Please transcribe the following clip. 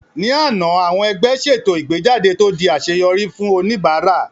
Ní àná, àwọn ẹgbẹ́ ṣètò ìgbéjáde tó di àṣeyọrí fún oníbàárà